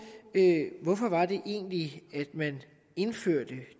hvorfor det egentlig var man indførte